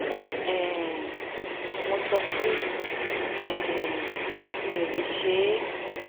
um mo sọ pé um mi ò lè ṣe é